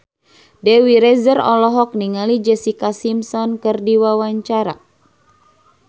Dewi Rezer olohok ningali Jessica Simpson keur diwawancara